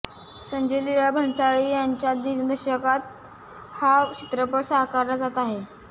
संजय लीला भन्साळी यांच्या दिग्दर्शनात हा चित्रपट साकारला जात आहे